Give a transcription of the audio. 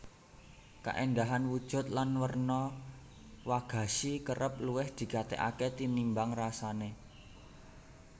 Kaéndahan wujud lan werna wagashi kerep luwih digatèkaké tinimbang rasané